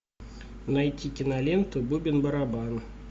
найти киноленту бубен барабан